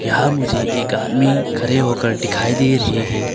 यहां मुझे एक आदमी खड़े होकर दिखाई दे रहे हैं।